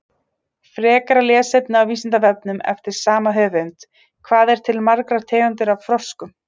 Frekara lesefni á Vísindavefnum eftir sama höfund: Hvað eru til margar tegundir af froskum?